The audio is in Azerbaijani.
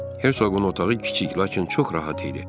Hercoğun otağı kiçik, lakin çox rahat idi.